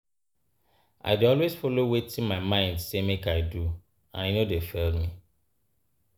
I dey always follow wetin my mind sey make I do and e no dey fail me.